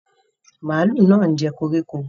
Màlúù náà ń jẹ koríko.